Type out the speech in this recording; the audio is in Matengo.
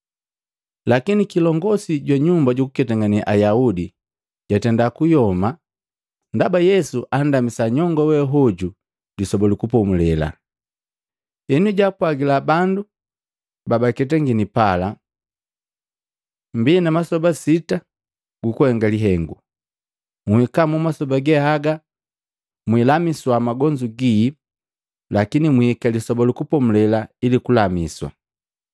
Lakini kilongosi jwa nyumba jukuketangane Ayaudi jatenda kuyoma ndaba Yesu andamisa nyongo we hoju Lisoba lu Kupomulela, henu jaapwajila bandu ba baketangini pala, “Mbii na masoba sita gukuhenga lihengu. Nhika masoba ge haga mwilamiswa magonzu gii, lakini mwihika Lisoba lu Kupomulela ili kulamiswa.”